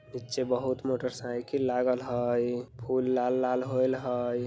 नीचे बहुत motorcycle लागल हई लाल-लाल होयल हई।